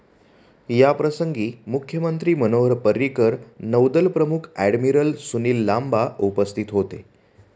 याप्रसंगी मुख्यमंत्री मनोहर पर्रीकर, नौदल प्रमुख ऍडमिरल सुनील लांबा उपस्थिती होते.